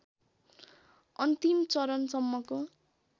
अन्तिम चरणसम्मको